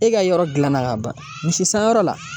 E ka yɔrɔ dilanna ka ban misi sanyɔrɔ la